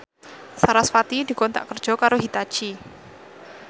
sarasvati dikontrak kerja karo Hitachi